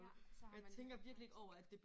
Ja så har man